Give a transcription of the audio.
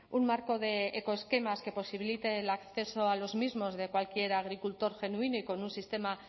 un marco de ecoesquemas que posibilite el acceso a los mismos de cualquier agricultor genuino y con un sistema